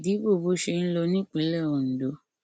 ìdíbò bó ṣe ń lọ ní ìpínlẹ ondo